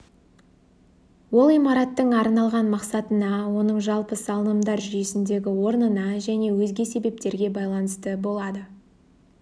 ол имараттың арналған мақсатына оның жалпы салынымдар жүйесіндегі орнына және өзге себептерге байланысты болады